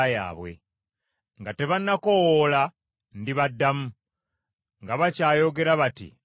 Nga tebanakoowoola ndibaddamu, nga bakyayogera bati mbaddemu.